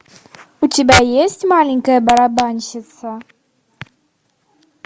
у тебя есть маленькая барабанщица